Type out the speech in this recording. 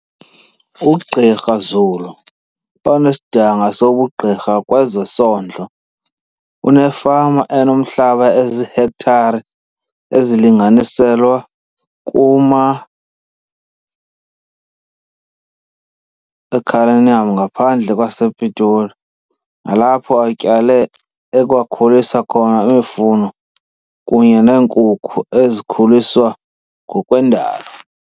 UGqr Zulu onesidanga sobugqirha kwezesondlo, unefama enomhlaba oziihektare ezilinganiselwa kuma e-Cullinan ngaphandle kwa sePitoli, nalapho atyale, ekwakhulisa khona imifuno kunye neenkukhu ezikhuliswa ngokwendalo.